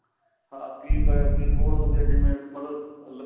ਹਾਂ keypad keyboard ਹੋ ਗਿਆ ਜਿਵੇਂ ਮਤਲਬ